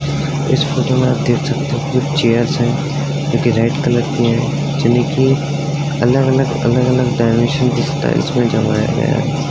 इस फोटो में आप देख सकते हो कि चेयर्स हैं जो कि रेड कलर की हैं। जो देखिये अलग-अलग अलग-अलग डाइमेंशन की स्टाइल्स में जमाया गया है।